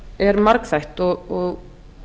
er margþætt og